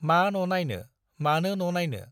मा न' नाइनो, मानो न' नाइनो?